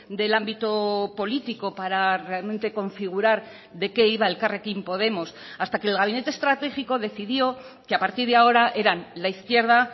del ámbito político para realmente configurar de qué iba elkarrekin podemos hasta que el gabinete estratégico decidió que a partir de ahora eran la izquierda